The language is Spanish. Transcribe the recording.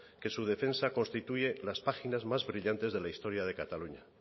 que su defensa constituye las páginas más brillantes de la historia de cataluña